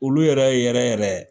Olu yɛrɛ yɛrɛ yɛrɛ